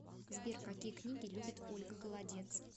сбер какие книги любит ольга голодец